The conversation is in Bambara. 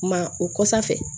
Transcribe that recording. Ma o kosa fɛ